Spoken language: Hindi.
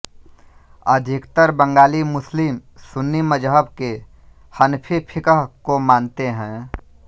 अधिकतर बंगाली मुस्लिम सुन्नी मज़हब के हनफी फिक्ह़ को मानते है